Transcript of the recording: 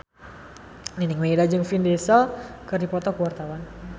Nining Meida jeung Vin Diesel keur dipoto ku wartawan